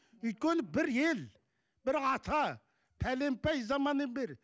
өйткені бір ел бір ата бәленбай заманнан бері